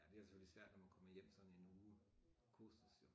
Ja det er selvfølgelig svært når man kommer hjem sådan en uge kursus jo